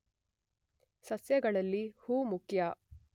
ಸಸ್ಯಗಳಲ್ಲಿ ಹೂ ಮುಖ್ಯ